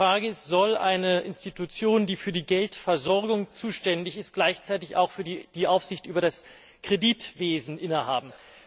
Die Frage ist Soll eine Institution, die für die Geldversorgung zuständig ist, gleichzeitig auch die Aufsicht über das Kreditwesen innehaben?